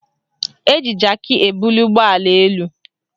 Eji jaki ebuli ụgbọala elu